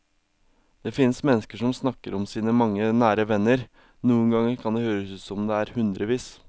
Det finnes mennesker som snakker om sine mange nære venner, noen ganger kan det høres ut som om det er hundrevis.